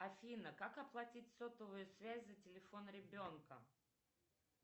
афина как оплатить сотовую связь за телефон ребенка